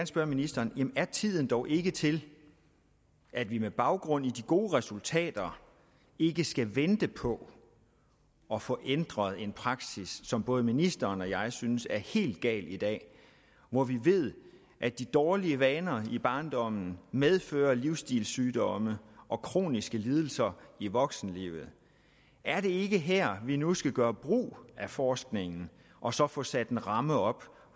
spørge ministeren er tiden dog ikke til at vi med baggrund i de gode resultater ikke skal vente på at få ændret en praksis som både ministeren og jeg synes er helt gal i dag hvor vi ved at de dårlige vaner i barndommen medfører livsstilssygdomme og kroniske lidelser i voksenlivet er det ikke her vi nu skal gøre brug af forskningen og så få sat en ramme op